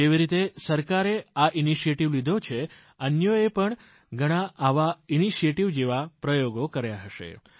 જેવી રીતે સરકારે આ પહેલ હાથ ધરી છેઅન્યોએ પણ ઘણી પહેલોજેવા પ્રયોગો કર્યા હશે